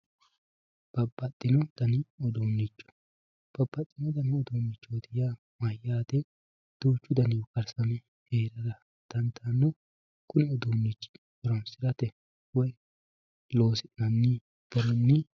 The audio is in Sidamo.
Baabaaxino daanni uddunicho baabaaxitino daanni uddunichoti yaa mayyaate duuchu dannihu kaarisame heerara daandano kuni uddunichi hooronsiratte woyyi loosinanni koorinni